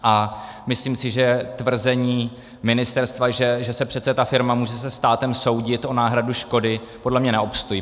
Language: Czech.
A myslím si, že tvrzení ministerstva, že se přece ta firma může se státem soudit o náhradu škody, podle mě neobstojí.